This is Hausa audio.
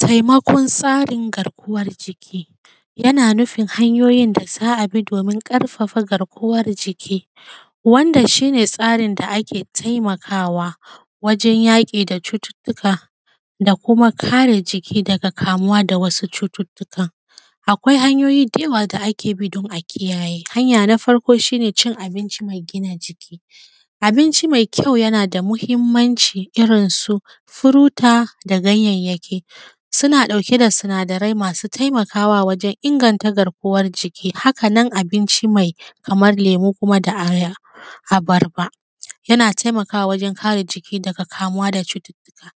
Taimakon tsarin garkuwan jiki, yana nufin hanyoyin da za a bi domin ƙarfafa garkuwar jiki wanda shi ne tsarin da ake taimakawa wajen yaƙi da cututtuka, da kuma kare jiki daga kamuwa da wasu cututtukan. Akwai hanyoyi da yawa da ake bi don a kiyaye, hanya na farko shi ne cin abinci mai gina jiki, abinci mai kyau yana da mahimmanci irin su furuti da ganyayyanki, suna ɗauke da sinadarai masu taimakawa wajen inganta garkuwan jiki. Haka nan abinci mai kamar lemu kuma da abarba yana taimakawa wajen kare jiki daga kamuwa da cututtuka.